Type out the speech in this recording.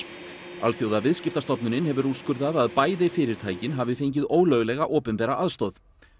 Alþjóðaviðskiptastofnunin hefur úrskurðað að bæði fyrirtækin hafi fengið ólöglega opinbera aðstoð